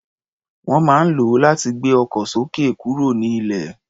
Wọ́n máa ń lò ó láti gbé ọkọ̀ sókè kúrò nílẹ̀.